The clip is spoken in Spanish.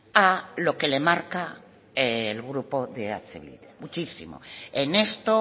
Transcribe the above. a lo que le marca el grupo de eh bildu muchísimo en esto